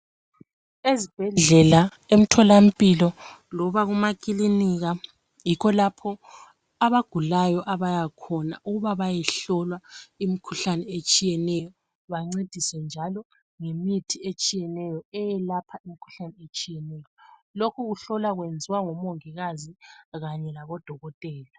Ezibhedlela emtholampilo loba emakilinika yikho lapho abagulayo abayakhona ukuba bayehlola omkhuhlane etshiyeneyo bancediswe njalo ngemithi etshiyeneyo eyelapha imikhuhlane etshiyeneyo. Lokhu kuhlola kwenziwa ngomongikazi kanye labodokotela.